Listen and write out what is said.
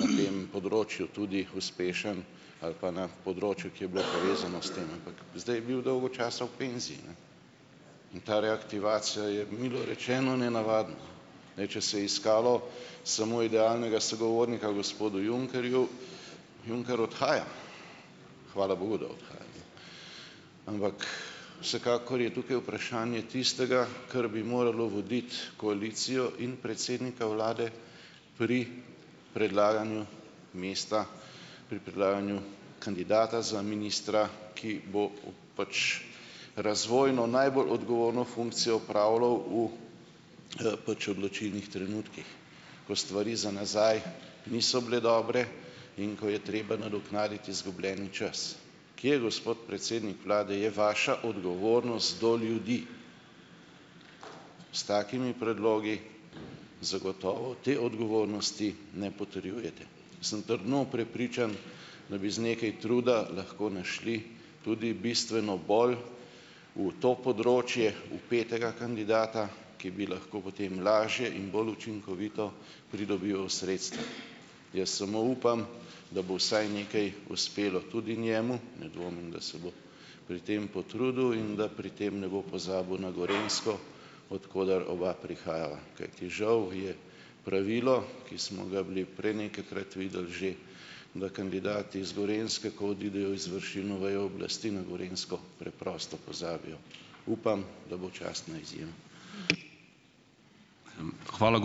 na tem področju tudi uspešen ali pa na področju, ki je bilo povezano s tem, ampak zdaj je bil dolgo časa v penziji, ne, in ta reaktivacija je milo rečeno nenavadna. Ne ... Če se iskalo samo idealnega sogovornika gospodu Junckerju, Juncker odhaja, hvala bogu, da odhaja. Ampak ... Vsekakor je tukaj vprašanje tistega, kar bi moralo voditi koalicijo in predsednika vlade pri predlaganju mesta, pri predlaganju kandidata za ministra, ki bo pač razvojno najbolj odgovorno funkcijo opravljal v, pač odločilnih trenutkih, ko stvari za nazaj niso bile dobre in ko je treba nadoknaditi izgubljeni čas. Kje, gospod predsednik vlade, je vaša odgovornost do ljudi? S takimi predlogi zagotovo te odgovornosti ne potrjujete, sem trdno prepričan, da bi z nekaj truda lahko našli tudi bistveno bolj v to področje vpetega kandidata, ki bi lahko potem lažje in bolj učinkovito pridobival sredstva. Jaz samo upam, da bo vsaj nekaj uspelo tudi njemu, ne dvomim, da se bo pri tem potrudil, in da pri tem ne bo pozabil na Gorenjsko, od koder oba prihajava, kajti, žal, je pravilo, ki smo ga bili prej nekajkrat videli že, da kandidati z Gorenjske, ko odidejo v izvršilno vejo oblasti, na Gorenjsko preprosto pozabijo. Upam, da bo častna izjema.